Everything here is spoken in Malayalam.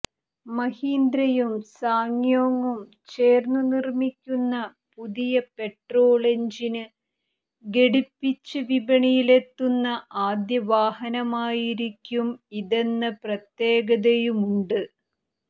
മഹീന്ദ്രയും സാങ്യോങ്ങും ചേര്ന്നുനിര്മിക്കുന്ന പുതിയ പെട്രോള് എന്ജിന് ഘടിപ്പിച്ച് വിപണിയിലെത്തുന്ന ആദ്യവാഹനമായിരിക്കും ഇതെന്ന പ്രത്യേകതയുമുണ്ട്